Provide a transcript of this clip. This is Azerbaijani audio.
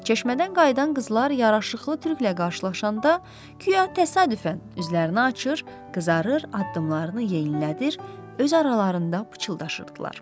Çeşmədən qayıdan qızlar yaraşıqlı türklə qarşılaşanda guya təsadüfən üzlərini açır, qızarır, addımlarını yenilədir, öz aralarında pıçıldaşırdılar.